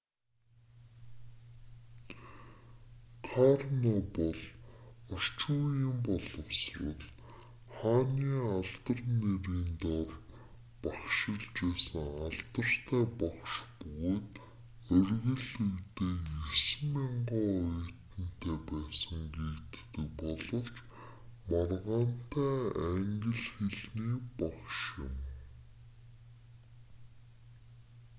карно бол орчин үеийн боловсрол хааны алдар нэрийн дор багшилж байсан алдартай багш бөгөөд оргил үедээ 9,000 оюутантай байсан гэгддэг боловч маргаантай англи хэлний багш юм